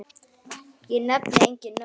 Ég nefni engin nöfn.